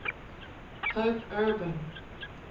pope urban